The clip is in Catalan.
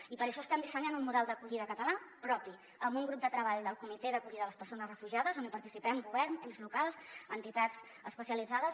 i per això estem dissenyant un model d’acollida català propi amb un grup de treball del comitè per a l’acollida de les persones refugiades on hi participem govern ens locals entitats especialitzades